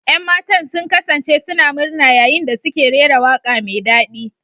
Yan matan sun kasance suna murna yayin da suke rera waƙa mai daɗi.